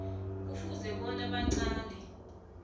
kufuze bona aqale